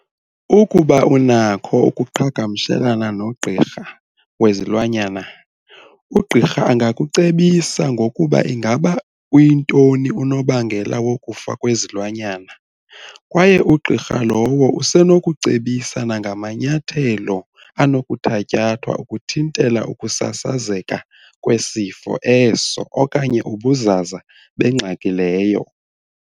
Ukuba unakho ukuqhagamshelana nogqirha wezilwanyana, ugqirha angakucebisa ngokuba ingaba uyintoni unobangela wokufa kwesilwanyana kwaye ugqirha lowo usenokucebisa nangamanyathelo anokuthatyathwa ukuthintela ukusasazeka kwesifo eso okanye ubuzaza bengxaki leyo.